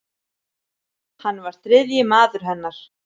Hann var þriðji maður hennar.